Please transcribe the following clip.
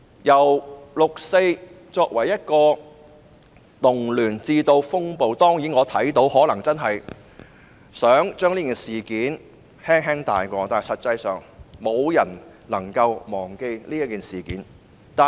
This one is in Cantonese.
由六四被定性為動亂，乃至風暴，我看到政府可能想輕輕帶過這事件，但實際上沒有人能忘記這事件。